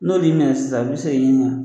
N'o de ɲɛna sisan a bi segin i ma